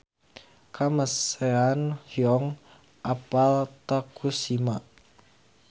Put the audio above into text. Kamasean hoyong apal Tokushima